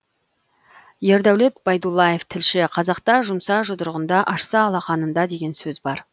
ердәулет байдуллаев тілші қазақта жұмса жұдырығында ашса алақанында деген сөз бар